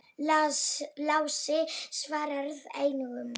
Lási svaraði engu.